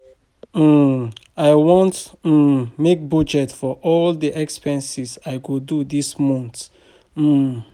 um I wan um make budget for all the expenses I go do dis um month